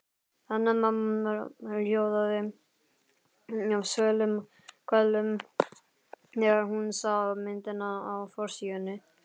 Hanna-Mamma hljóðaði af kvölum þegar hún sá myndina á forsíðunni.